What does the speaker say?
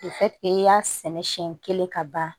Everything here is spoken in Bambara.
i y'a sɛnɛ siɲɛ kelen ka ban